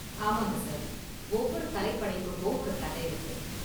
ஆமாங்க சார், ஒவ்வொரு கலைப் படைப்புக்கும் ஒரு கதை இருக்கு.